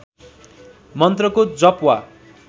मन्त्रको जप वा